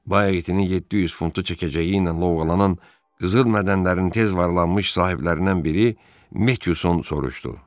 Bəyə itinin 700 funtu çəkəcəyi ilə lovğalanan qızıl mədənlərinin tez varlanmış sahiblərindən biri Metson soruşdu.